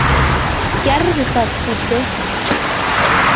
Gerðu það, Fúffi.